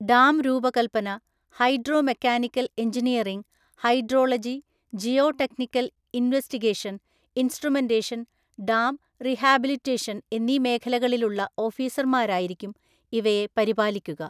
ഡാംരൂപകല്പ്പന, hydro mechanical‍ engineering, hydrology, geo technical investigation‍, instrumentation‍, dam rehabilitation‍, എന്നീമേഖലകളിലുള്ള ഓഫീസര്‍മാരായിരിക്കും ഇവയെ പരിപാലിക്കുക.